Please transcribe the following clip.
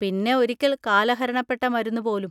പിന്നെ ഒരിക്കൽ കാലഹരണപ്പെട്ട മരുന്ന് പോലും.